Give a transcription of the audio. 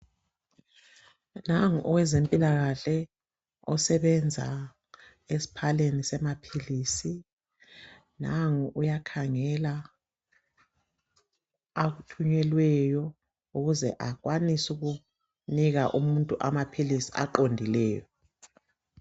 Nangu owezempilakahle osebenza esiphaleni semaphilisi nangu uyakhangela akuthunyelweyo ukuze akwanise ukunika umuntu amaphilisi aqondileyo.